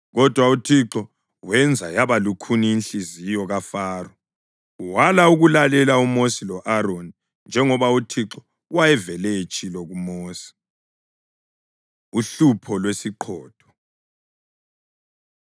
Kodwa uThixo wenza yaba lukhuni inhliziyo kaFaro wala ukulalela uMosi lo-Aroni njengoba uThixo wayevele etshilo kuMosi. Uhlupho Lwesiqhotho